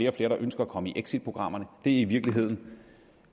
og flere der ønsker at komme i exitprogrammerne og det er i virkeligheden